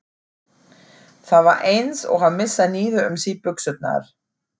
Það var eins og að missa niður um sig buxurnar.